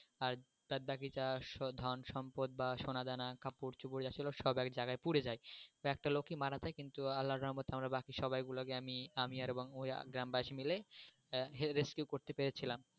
আর বাদ বাকি যা ধন সম্পদ সোনা কাপড় চুপড় যা ছিল সব এক জায়গায় পুড়ে যায় তো একটা লোকই মারা যায় কিন্তু আল্লা রহমতে বাকি সবাইগুলা আমি, আমি এবং ওরা গ্রামবাসী মিলে rescue করতে পেরেছিলাম।